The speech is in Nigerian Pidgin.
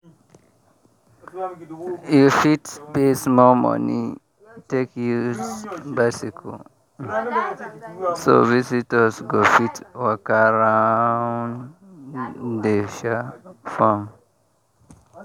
you fit pay small money take use bicycle um so visitors go fit waka round the um farm.